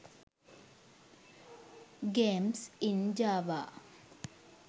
games in java